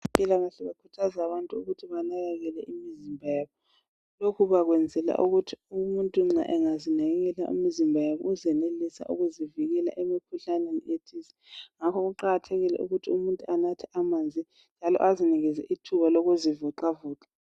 Abezempilakahle bakhuthaza abantu ukuthi banakekele imizimba yabo. Lokhu bakwenzela ukuthi umuntu nxa engazinakelela umzimba yabo uzenelisa ukuzivikela emkhuhlaneni ethize. Ngakho kuqakathekile ukuthi umuntu anathe amanzi njalo azinikeze ithuba lokuzivoxavoxa.